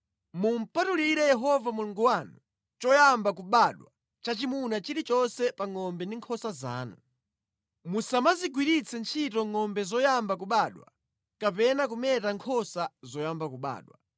Mumupatulire Yehova Mulungu wanu choyamba kubadwa chachimuna chilichonse pa ngʼombe ndi nkhosa zanu. Musamazigwiritse ntchito ngʼombe zoyamba kubadwa kapena kumeta nkhosa zoyamba kubadwa.